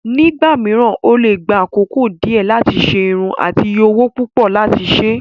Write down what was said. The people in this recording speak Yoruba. Nígbà mìíràn, ó lè gba àkókò díẹ̀ láti ṣe irun àti iye owó púpọ̀ láti ṣe.